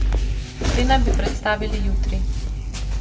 Te naj bi predstavili jutri.